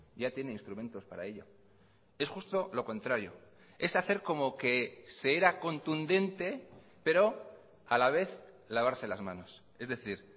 ya tiene instrumentos para ello es justo lo contrario es hacer como que se era contundente pero a la vez lavarse las manos es decir